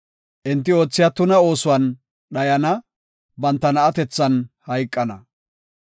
Enti oothiya tuna oosuwan dhayana; banta na7atethan hayqana.